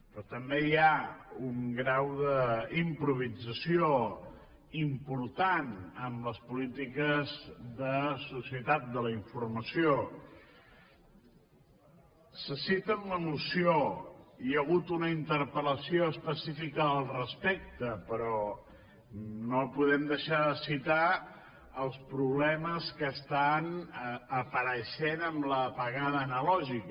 però també hi ha un grau d’improvisació important en les polítiques de societat de la informació se cita en la moció hi ha hagut una interpel·lació específica al respecte però no podem deixar de citar els problemes que estan apareixent amb l’apagada analògica